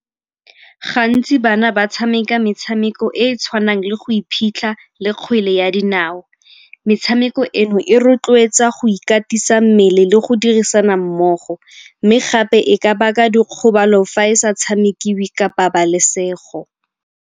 Gantsi bana ba tshameka metshameko e e tshwanang le go iphitlha le kgwele ya dinao. Metshameko eno e rotloetsa go ikatisa mmele le go dirisana mmogo mme gape e ka baka dikgobalo fa e sa tshamekiwe ka pabalesego.